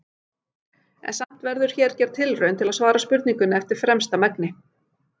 En samt verður hér gerð tilraun til að svara spurningunni eftir fremsta megni.